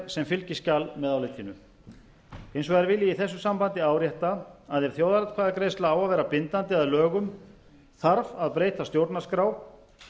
sem fylgiskjal með álitinu hins vegar vil ég í þessu sambandi árétta að ef þjóðaratkvæðagreiðsla á að vera bindandi að lögum þarf að breyta stjórnarskrá